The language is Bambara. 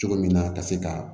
Cogo min na ka se ka